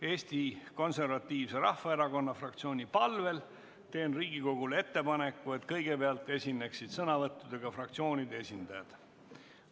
Eesti Konservatiivse Rahvaerakonna fraktsiooni palvel teen Riigikogule ettepaneku, et kõigepealt esineksid sõnavõtuga fraktsioonide esindajad.